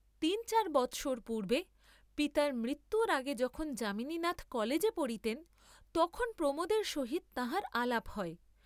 তিন চার বৎসর পূর্ব্বে, পিতার মৃত্যুর আগে যখন যামিনীনাথ কলেজে পড়িতেন তখন প্রমােদের সহিত তাঁহার আলাপ হয়।